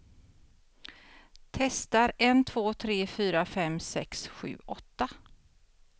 Testar en två tre fyra fem sex sju åtta.